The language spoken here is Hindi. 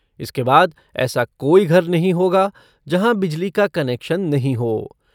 इसके बाद ऐसा कोई घर नहीं होगा, जहां बिजली का कनेक्शन नहीं हो।